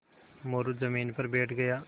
मोरू ज़मीन पर बैठ गया